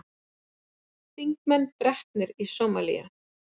Þingmenn drepnir í Sómalíu